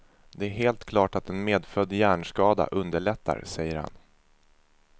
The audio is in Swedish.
Det är helt klart att en medfödd hjärnskada underlättar, säger han.